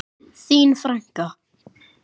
Þín frænka.